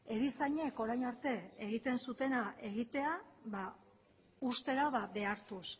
erizainek orain arte egiten zuena egitea uztera behartuz